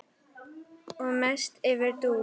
Og mest yfir Dúu.